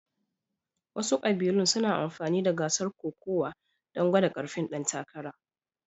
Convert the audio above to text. Wasu ƙabilun suna amfani da gasar kokawa don gwada ƙarfin ɗan takara